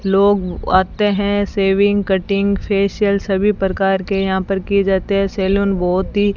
लोग आते हैं सेविंग कटिंग फेशियल सभी प्रकार के यहां पर किए जाते हैं सैलून बहोत ही --